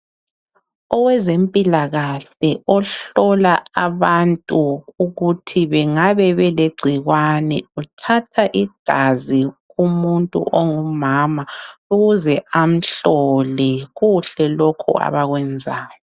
Owezempilakahle ohlola abantu ukuthi bengabe elegcikwane uthatha igazi kumuntu ongumama ukuze amhlole kuhle lokhu abakwenzayo.